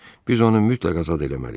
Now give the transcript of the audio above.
Biz onu mütləq azad eləməliyik.